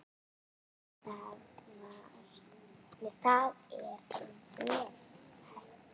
Það er vel hægt.